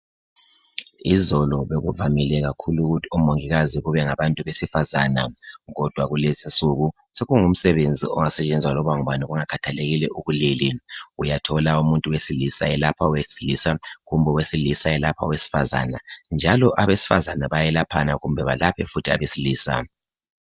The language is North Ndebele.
Izolo bekuvamile kakhulu ukuthi omongikazi kube ngabantu besifazana. Kodwa kulezi nsuku sokungu msebenzi ongasetshenzwa loba ngubani kungakhathelekile ubulili. Uyathola umuntu wesilisa elapha owesilisa kumbe owesilisa elapha owesifazana . Njalo abesifazana bayelaphana kumbe balaphe futhi abesilisa .